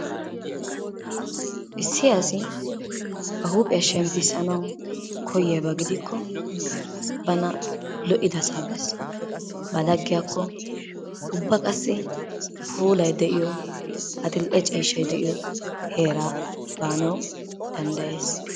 Issi asi ba huuphphiyaa shemmissanawu koyiyaaba gidikko bana lo"idasaa bees. Ba laggiyaakko bees. Ubba qassi puulay de'iyoo adli"e ciishshay de'iyoo heeraa baanawu dandayees.